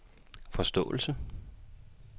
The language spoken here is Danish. forståelse